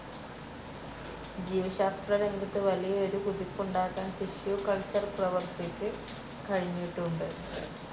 ജീവശാസ്ത്രരംഗത്ത് വലിയ ഒരു കുതിപ്പുണ്ടാക്കാൻ ടിഷ്യൂ കൾച്ചർ പ്രവർത്തിക്ക് കഴിഞ്ഞിട്ടുണ്ട്.